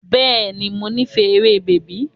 Bẹ́ẹ̀ni, mo nífẹ̀ẹ́ eré bèbí.